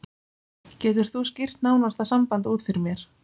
Getur þú skýrt nánar það samband út fyrir mér?